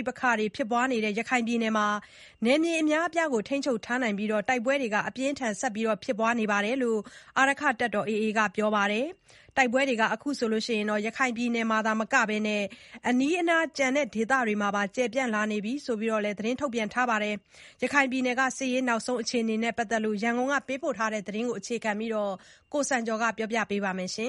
ိပက္ခတွေ ဖြစ်ပွားနေတဲ့ ရခိုင်ပြည်နယ်မှာ နယ်မြေအများအပြားကို ထိန်းချုပ်ထားပြီး တိုက်ပွဲတွေ အပြင်းအထန် ဆက်လက်ဖြစ်ပွားနေတယ်လို့ အာရက္ခတပ်တော် AA အဖွဲ့က ပြောပါတယ်။ တိုက်ပွဲတွေဟာ အခုအခါ ရခိုင်ပြည်နယ်မှာ သာမက အနီးအနား ကျန်ဒေသတွေမှာပါ ကျယ်ပြန့်လာနေပြီလို့လည်း သတင်းထုတ်ပြန်ထားတာပါ။ ရခိုင်ပြည်နယ် စစ်ရေးနောက်ဆုံးအခြေအနေနဲ့ ပတ်သက်လို့ ရန်ကုန်က သတင်းပေးပို့ထားတာကို အခြေခံပြီး တင်ပြထားပါတ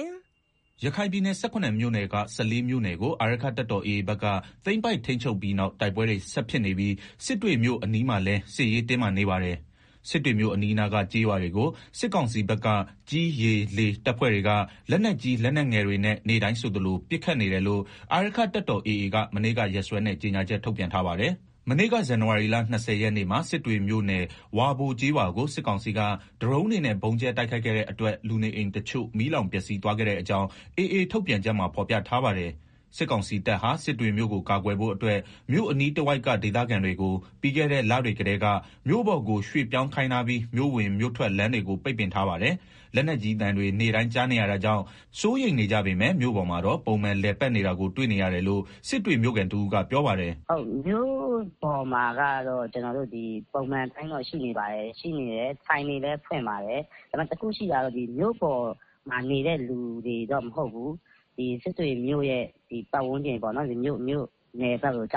ယ်။ ရခိုင်ပြည်နယ် ၁၇ မြို့နယ်က ၁၄ မြို့နယ်ကို အာရက္ခတပ်တော် AA ဘက်က သိမ်းပိုက်ထိန်းချုပ်ပြီးနောက် တိုက်ပွဲတွေ ဆက်ဖြစ်နေပြီး စစ်တွေမြို့အနီးမှာလည်း စစ်ရေးတင်းမာနေပါတယ်။ စစ်တွေမြို့အနီးအနားက ကျေးရွာတွေကို စစ်ကောင်စီဘက်က ကြည်း၊ ရေ ၊လေ တပ်ဖွဲ့တွေက လက်နက်ကြီး လက်နက်ငယ်တွေ နဲ့ နေ့တိုင်းဆိုသလို ပစ်နေတယ်လို့ အာရက္ခတပ်တော် AA က မနေ့က ရက်စွဲနဲ့ ကြေညာချက် ထုတ်ပြန်ထားပါတယ်။ မနေ့က ဇန်နဝါရီလ ၂၀ ရက်နေ့မှာ စစ်တွေမြို့နယ် ဝါဘိုကျေးရွာကို စစ်ကောင်စီက ဒရုန်းတွေနဲ့ ဗုံးကြဲ တိုက်ခိုက်ခဲ့တဲ့အတွက် လူနေအိမ်တချို့ မီးလောင်ပျက်စီးသွားခဲ့တဲ့အကြောင်း AA ထုတ်ပြန်ချက်မှာ ဖော်ပြထား ပါတယ်။ စစ်ကောင်စီတပ်ဟာ စစ်တွေမြို့ကို ကာကွယ်ဖို့အတွက် မြို့အနီးတဝိုက်က ဒေသခံတွေကို ပြီးခဲ့တဲ့ လတွေကတည်းက မြို့ပေါ်ကို ရွှေ့ပြောင်းခိုင်းထားပြီး မြို့ဝင်မြို့ထွက် လမ်းတွေ ကို ပိတ်ပင်ထားပါတယ်။ လက်နက်ကြီးတွေ သံတွေ နေ့တိုင်းကြားနေရတာကြောင့် စိုးရိမ်နေကြပေမယ့် မြို့ပေါ်မှာတော့ ပုံမှန်လည်ပတ်နေတာကို တွေ့ရတယ်လို့ စစ်တွေ မြို့ခံတဦးက ပြောပါတယ်။ “မြို့ပေါ်မှာကတော့ ပုံမှန်အတိုင်းတော့ ရှိနေပါတယ်၊ဆိုင်တွေလည်း ဖွင့်ပါတယ်၊ ဒါပေမယ့် တခုရှိတာ ကတော့ မြို့ပေါ်မှာနေတဲ့ လူတွေတော့ မဟုတ်ဘူး စစ်တွေမြို့ ပတ်ဝန်းကျင်က သင်ပုန်း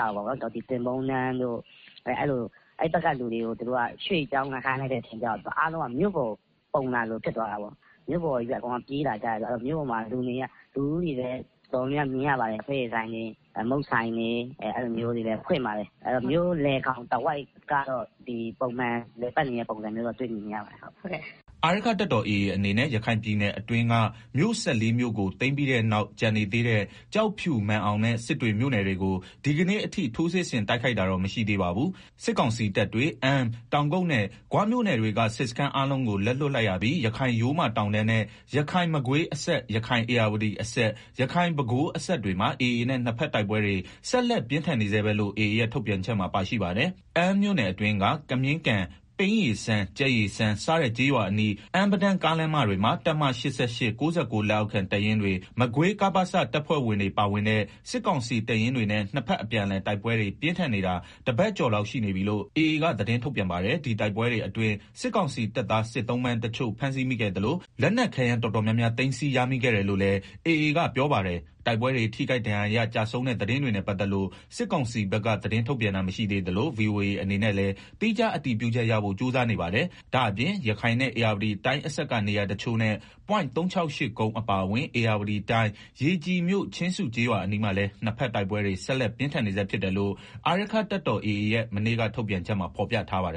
တန်းတို့ အဲဘက်က လူတွေကို သူတို့က ရွှေ့ပြောင်းခိုင်းလိုက်တော့ အားလုံးက မြို့ပေါ်ကို ပုံလာသလို တော့ ဖြစ်သွားတာပေါ့။ မြို့ပေါ်ပဲ အကုန်လုံးက ပြေးလာကြတော့ လူတွေလည်း မြို့ပေါ်မှာ တော်တော် များများမြင်ရပါတယ်။ လက်ဖက်ရည်ဆိုင်တွေ မုန့်ဆိုင်တွေလည်း ဖွင့်ပါတယ် ဆိုတော့ မြို့လယ် ကောင် တဝိုက်ကတော့ ပုံမှန်လည်ပတ်နေတဲ့ ပုံစံတော့ တွေ့မြင်နေရပါတယ်။” အာရက္ခတပ်တော် AA အနေနဲ့ ရခိုင်ပြည်နယ်အတွင်းက မြို့ ၁၄ မြို့ကို သိမ်ပြီးတဲ့နောက် ကျန်နေသေးတဲ့ ကျောက်ဖြူ မာန်အောင်နဲ့ စစ်တွေမြို့နယ်တွေကို ဒီကနေ့အထိ ထိုးစစ်ဆင်တိုက်ခိုက်တာတော့ မရှိသေးပါဘူး။ စစ်ကောင်စီတပ်တွေ အမ်း တောင်ကုတ်နဲ့ ဂွမြို့နယ်တွေကစစ်စခန်းအားလုံးကို လက်လွတ်လိုက် ရပြီး ရခိုင်ရိုးမတောင်တန်းနဲ့ ရခိုင်-မကွေးအစပ်၊ ရခိုင်-ဧရာဝတီအစပ် ၊ ရခိုင်- ပဲခူး အစပ်တွေမှာ AA နဲ့ နှစ်ဘက်တိုက်ပွဲတွေ ဆက်လက်ပြင်းထန်နေဆဲပဲလို့ AA ရဲ့ ထုတ်ပြန်ချက်မှာ ပါရှိပါတယ်။ အမ်းမြို့နယ်အတွင်းက ကမြင်းကန်၊ ပိန်းရေစမ်း၊ ကြက်ရေစမ်းစတဲ့ ကျေးရွာအနီး အမ်း-ပဒန်း ကားမတွေမှာ တပ်မ (၈၈)၊ (၉၉) လက်အောက်ခံ တပ်ရင်းတွေ မကွေး ကပစ တပ်ဖွဲ့ဝင်တွေ ပါဝင်တဲ့ စစ်ကောင်စီတပ်ရင်းတွေနဲ့ နှစ်ဘက်အပြန်အလှန် တိုက်ပွဲတွေ ပြင်းထန်နေတာ တပတ်ကျော်လောက်ရှိနေပြီလို့ AA က သတင်းထုတ်ပြန်ပါတယ်။ ဒီတိုက်ပွဲတွေ အတွင်း စစ်ကောင်စီ တပ်သား စစ်သုံ့ပန်းတချို့ဖမ်းဆီးမိခဲ့သလို လက်နက်ခဲယမ်းတော်တော်များများ သိမ်းစည်းရမိခဲ့ တယ်လို့လည်း AA က ပြောပါတယ်။ တိုက်ပွဲတွေ ထိခိုက်ဒဏ်ရာရ ကျဆုံးတဲ့ သတင်းတွေနဲ့ ပတ်သက်လို့ စစ်ကောင်စီဘက်က သတင်းထုတ်ပြန်တာ မရှိသေးသလို VOA အနေနဲ့လည်း သီးခြား အတည်ပြုချက်ရဖို့ ကြိုးစားနေပါတယ်။ ဒါ့အပြင် ရခိုင်နဲ့ ဧရာဝတီတိုင်း အစပ်က နေရာတချို့နဲ့ ပွိုင့် (၃၆၈) ကုန်း အပါအဝင် ဧရာဝတီတိုင်း ရေကြည်မြို့ ချင်းစုကျေးရွာအနီးမှာလည်း နှစ်ဘက်တိုက်ပွဲတွေဆက်လက် ပြင်းထန် နေဆဲဖြစ်တယ်လို့ အာရက္ခတပ်တော် AA ရဲ့ မနေ့က ထုတ်ပြတ်ချက်မှာ ဖော်ပြထားပါတယ်